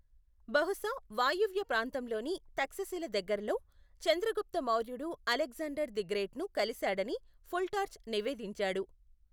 బహుశా వాయువ్య ప్రాంతంలోని తక్షశిల దగ్గరల్లో, చంద్రగుప్త మౌర్యుడు అలెగ్జాండర్ ది గ్రేట్ను కలిశాడని ఫుల్టార్చ్ నివేదించాడు.